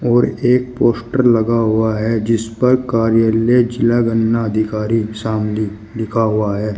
और एक पोस्टर लगा हुआ है जिसपर कार्यालय ज़िला गन्ना अधिकारी शामली लिखा हुआ है।